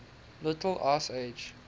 little ice age